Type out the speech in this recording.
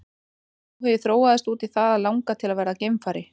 Sá áhugi þróaðist út í það að langa til að verða geimfari.